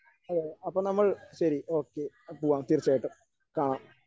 അതെ അപ്പോൾ നമ്മൾ ശരി ഓക്കേ പോകാം തീർച്ചയായിട്ടും കാണാം.